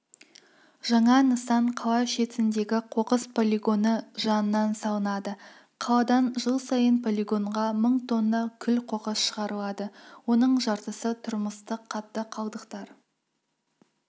жаңа нысан қала шетіндегі қоқыс полигоны жанынан салынады қаладан жыл сайын полигонға мың тонна күл-қоқыс шығарылады оның жартысы тұрмыстық қатты қалдықтар